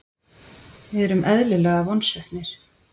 Við erum eðlilega vonsviknir.